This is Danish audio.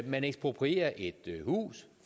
man eksproprierer et hus